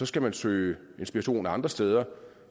skal man søge inspiration andre steder